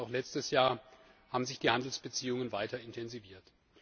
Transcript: EUR, und auch letztes Jahr haben sich die Handelsbeziehungen weiter intensiviert.